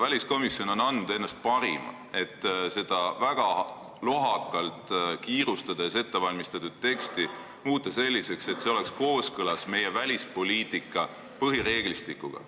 Väliskomisjon on andnud endast parima, et seda väga lohakalt, kiirustades ette valmistatud teksti muuta nii, et see oleks kooskõlas meie välispoliitika põhireeglistikuga.